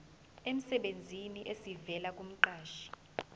emsebenzini esivela kumqashi